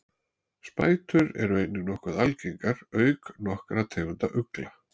Spætur eru einnig nokkuð algengar auk nokkurra tegunda ugla.